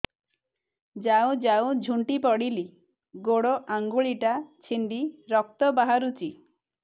ଯାଉ ଯାଉ ଝୁଣ୍ଟି ପଡ଼ିଲି ଗୋଡ଼ ଆଂଗୁଳିଟା ଛିଣ୍ଡି ରକ୍ତ ବାହାରୁଚି